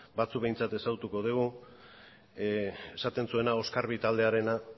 batzuk behintzat ezagutuko dugu esaten zuena oskarbi taldearena